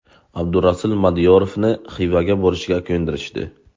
Abdurasul Madiyarovni Xivaga borishga ko‘ndirishdi.